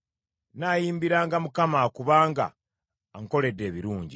Nnaayimbiranga Mukama , kubanga ankoledde ebirungi.